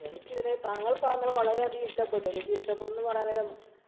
എനിക്കിതിനെ താങ്കള്‍ പറഞ്ഞത് വളരെയധികം ഇഷ്ടപ്പെട്ടു. എനിക്ക് ഇഷ്ടപ്പെട്ടു എന്ന് പറയാന്‍ നേരം